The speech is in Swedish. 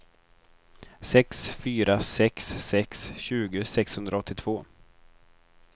sex fyra sex sex tjugo sexhundraåttiotvå